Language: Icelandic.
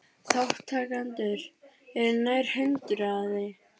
Þátttakendur eru nær hundraði